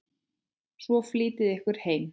Svo flýtiði ykkur heim.